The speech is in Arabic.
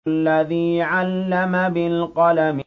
الَّذِي عَلَّمَ بِالْقَلَمِ